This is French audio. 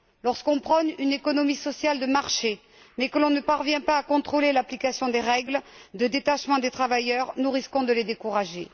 Lorsqu'on prône une économie sociale de marché, mais qu'on ne parvient pas à contrôler l'application des règles de détachement des travailleurs, nous risquons de les décourager.